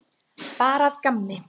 Bara að gamni.